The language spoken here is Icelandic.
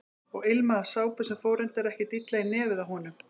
Og ilmaði af sápu sem fór reyndar ekkert illa í nefið á honum.